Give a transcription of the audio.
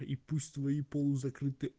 и пусть твои полузакрыты